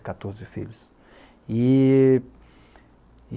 quatorze filhos. E